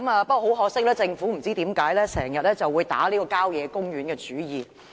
不過，很可惜，政府卻不知為何經常向郊野公園打主意。